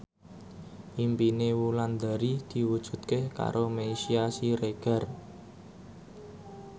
impine Wulandari diwujudke karo Meisya Siregar